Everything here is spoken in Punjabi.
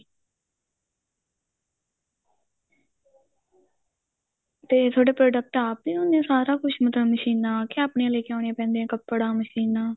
ਤੇ ਤੁਹਾਡੇ product ਆਪ ਹੀ ਹੁੰਦੇ ਏ ਸਾਰਾ ਕੁੱਝ ਮਤਲਬ ਮਸ਼ੀਨਾ ਕੇ ਆਪਣੀਆਂ ਲੈ ਕੇ ਆਉਣੀਆਂ ਪੈਂਦੀਆਂ ਕੱਪੜਾ ਮਸ਼ੀਨਾ